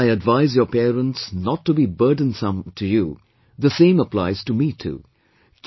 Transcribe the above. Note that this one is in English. Just as I advise your parents not to be burdensome to you, the same applies to me too